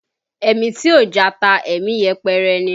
Ẹ̀mí tí ò jata, ẹ̀mí yẹpẹrẹ ni